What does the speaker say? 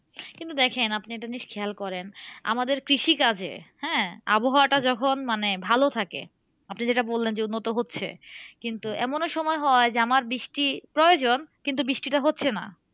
কিন্তু দেখেন আপনি একটা জিনিস খেয়াল করেন, আমাদের কৃষিকাজে, হ্যাঁ? আবহাওয়াটা যখন মানে ভালো থাকে। আপনি যেটা বললেন যে উন্নত হচ্ছে কিন্তু এমনও সময় হয় যে, আমার বৃষ্টি প্রয়োজন কিন্তু বৃষ্টিটা হচ্ছে না।